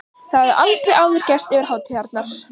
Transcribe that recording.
Það hafði aldrei áður gerst yfir hátíðarnar.